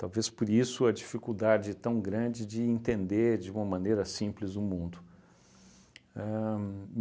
Talvez por isso a dificuldade tão grande de entender de uma maneira simples o mundo. Ahn